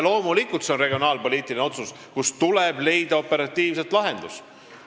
Loomulikult on see regionaalpoliitiline otsus, tuleb operatiivselt lahendus leida.